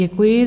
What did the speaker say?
Děkuji.